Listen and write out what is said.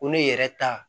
Ko ne yɛrɛ ta